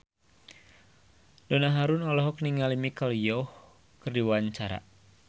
Donna Harun olohok ningali Michelle Yeoh keur diwawancara